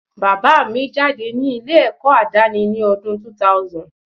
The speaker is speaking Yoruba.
Bàbá mi jáde ní ilé ẹ̀kọ́ àdáni ni ọdún 2000